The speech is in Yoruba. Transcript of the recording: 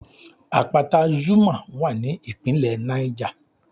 Àpáta Zuma wà ní ìpínlẹ̀ Niger